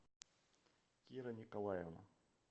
кира николаевна